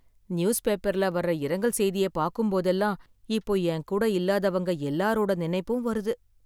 நியூஸ்பேப்பர்ல வர்ற இரங்கல் செய்தியைப் பாக்கும்போதெல்லாம், இப்போ என்கூட இல்லாதவங்க எல்லாரோட நினைப்பும் வருது.